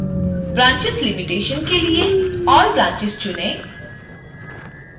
branches limitation: के लिए all branches चुनें